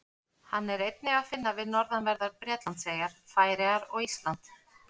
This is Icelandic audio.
Hann er einnig að finna við norðanverðar Bretlandseyjar, Færeyjar og Ísland.